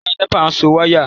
Ọ̀gá nẹ́pà ń so wáyà